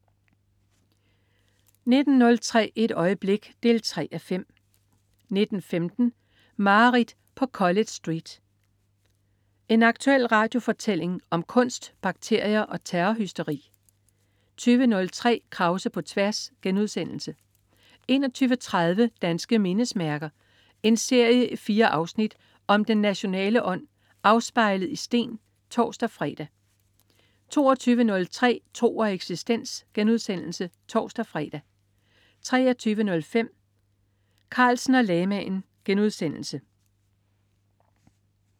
19.03 Et øjeblik 3:5 19.15 Mareridt på College Street. En aktuel radiofortælling om kunst, bakterier og terrorhysteri 20.03 Krause på tværs* 21.30 Danske mindesmærker. En serie i fire afsnit om den nationale ånd afspejlet i sten (tors-fre) 22.03 Tro og eksistens* (tors-fre) 23.05 Carlsen og lamaen*